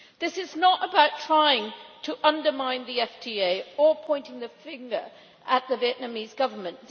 This is not about trying to undermine the FTA or pointing the finger at the Vietnamese Government.